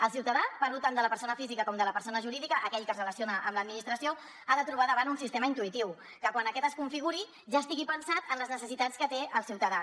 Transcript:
el ciutadà parlo tant de la persona física com de la persona jurídica aquell que es relaciona amb l’administració ha de trobar davant un sistema intuïtiu que quan aquest es configuri ja estigui pensat en les necessitats que té el ciutadà